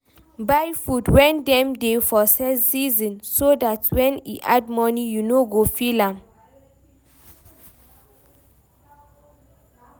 Buy food when dem dey for season so dat when e add money you no go feel am